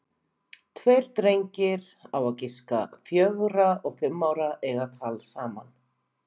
Tveir drengir, á að giska fjögra og fimm ára, eiga tal saman.